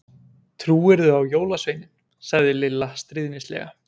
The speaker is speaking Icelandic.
Trúirðu á jólasveininn? sagði Lilla stríðnislega.